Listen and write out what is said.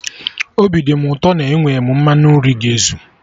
Obi dị mụ ụtọ na enwe m mmanụ nri ga ezu